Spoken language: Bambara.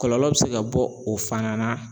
Kɔlɔlɔ be se ka bɔ o fana na